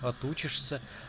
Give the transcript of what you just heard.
отучишься